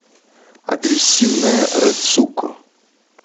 агрессивная рэцуко